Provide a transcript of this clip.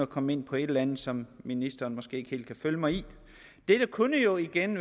komme ind på et eller andet som ministeren måske ikke helt kan følge mig i dette kunne jo igen